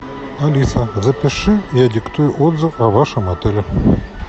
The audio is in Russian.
алиса запиши я диктую отзыв о вашем отеле